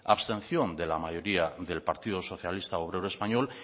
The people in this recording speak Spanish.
abstención de la mayoría del partido socialista obrero español